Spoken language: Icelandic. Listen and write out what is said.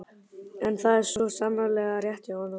En það var svo sannarlega rétt hjá honum.